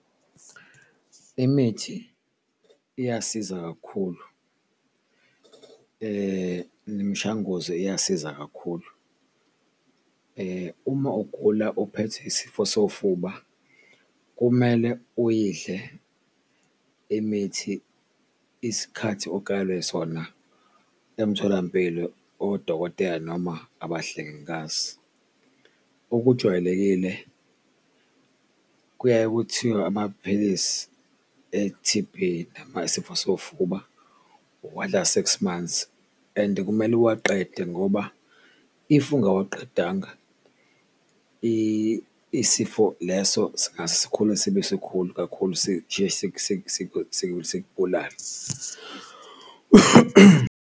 Imithi iyasiza kakhulu nemishanguzo iyasiza kakhulu uma ugula uphethe isifo sofuba, kumele uyidle imithi isikhathi okalwe sona emtholampilo odokotela noma abahlengikazi. Okujwayelekile kuyaye kuthiwe amaphilisi e-T_B noma isifo sofuba uwadla six months and kumele uwaqede ngoba if ungawaqedanga, isifo leso singase sikhule sibe sikhulu kakhulu sijike sikubulale.